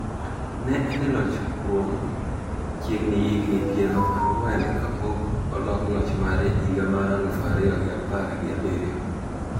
Ne en e loch kuom chiegni higni piero ang'wen kapok olok loch mare higa mar aluf ariyo gi apar gi abiriyo.